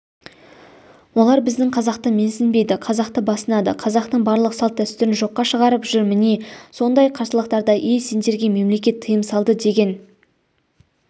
олар біздің қазақты менсінбейді қазақты басынады қазақтың барлық салт-дәстүрін жоққа шығарып жүр міне сондай қарсылықтарда ей сендерге мемлекет тыйым салды деген